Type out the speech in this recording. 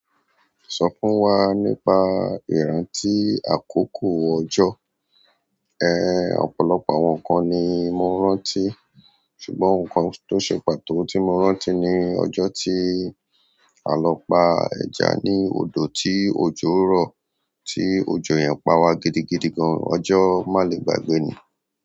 Sọ fún wa nípa ìrántí àkókò ọjọ́. Ehn ọ̀pọ̀lọpọ̀ àwọn inkan ni mo rántí ṣùgbọ́n ǹkan tí o ṣe pàtó tí mo rántí ní ọjọ́ tí a lọ pa ẹja ní odò tí òjò rọ̀ ti ojo yẹn pawa gidigan ọjọ́ manigbagbe ni.